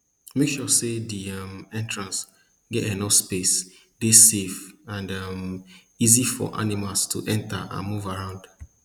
make sure say di um entrance get enough space dey safe and um easy for animals to enter and move around